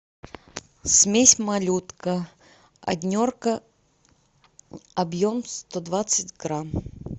смесь малютка однерка объем сто двадцать грамм